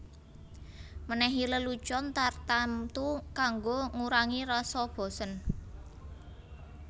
Menehi lelucon tartamtu kanggo ngurangi rasa bosen